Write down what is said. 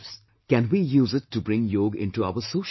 Can we use it to bring Yog into our social life